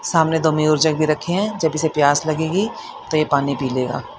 सामने दो में और जग भी रखे है जब इसे प्यास लगेगी तो ये पानी पी लेगा।